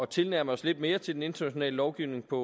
tilnærme os lidt mere den internationale lovgivning på